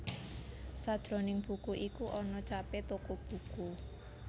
Sajroning buku iku ana capé toko buku